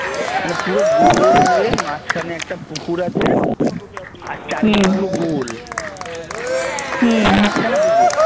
মানে পুরো গোল হয়ে মাঝখানে একটা পুকুর আছে আর চারদিকে পুরো গোল মাঝখানে পুকুর